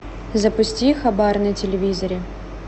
запусти хабар на телевизоре